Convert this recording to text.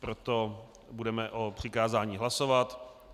Proto budeme o přikázání hlasovat.